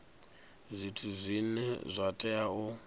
zwithu zwine zwa tea u